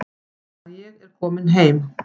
Að ég er komin heim.